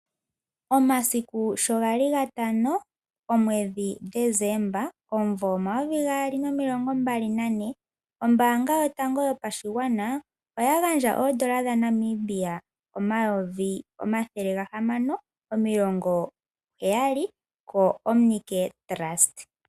Omasiku sho gali gatano, omwedhi Desemba omumvo omayovi gaali nomilongo mbali nane, ombaanga yotango yopashigwana oya gandja oondola dhaNamibia omayovi omathele ga hamano omilongo heyali koOmicare Trust.